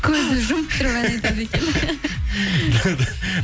көзді жұмып тұрып ән айтады екен